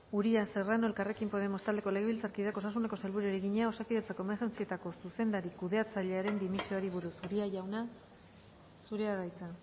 uria serrano elkarrekin podemos taldeko legebiltzarkideak osasuneko sailburuari egina osakidetzako emergentziatako zuzendari kudeatzailearen dimisioari buruz uria jauna zurea da hitza